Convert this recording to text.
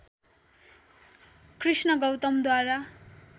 Krishna गौतमद्वारा